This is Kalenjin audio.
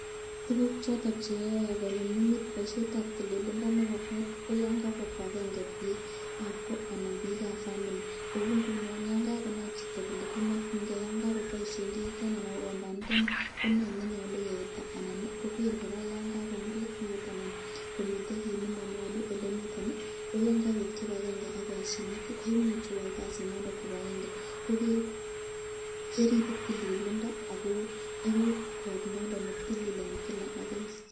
Tukuk choton cheyae konyumnyumit boisyetab tililindo nebo kot, koyan kabwa kibakenge bikab kokwet anan bikab famili kou ngunon yan kakonai chito kole komakyinke anan yonkakyamisyen kiiteni ana ko komba niteni ko nee nnenyalu keita anan koger koraa yon kakomurit biut anan komiten kit olemanyalu komiten koyan Kabir kibakenge ak kosyinet koimuch keyai kasit nondon kibakenge ko keribe tililindo ako euku kot nondon netilil eng Kila ak Kila.